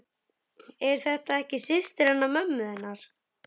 Er þetta ekki systir hennar mömmu þinnar?